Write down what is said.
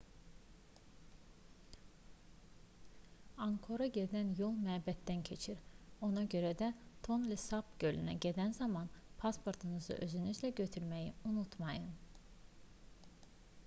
anqkora gedən yol məbəddən keçir ona görə də tonle sap gölünə gedən zaman pasportunuzu özünüzlə götürməyi unutmayın